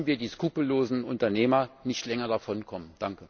Lassen wir die skrupellosen Unternehmer nicht länger davonkommen!